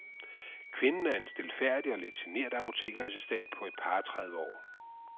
Kvinden er en stilfærdig og lidt genert apotekerassistent på et par og tredive år.